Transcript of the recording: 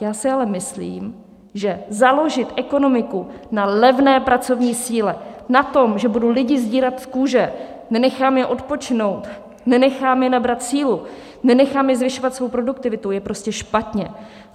Já si ale myslím, že založit ekonomiku na levné pracovní síle, na tom, že budu lidi sdírat z kůže, nenechám je odpočinout, nenechám je nabrat sílu, nenechám je zvyšovat svou produktivitu, je prostě špatně.